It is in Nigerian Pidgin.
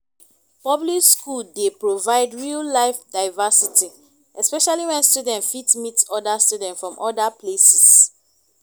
public school dey provide real life diversity especially when students fit meet oda students from oda places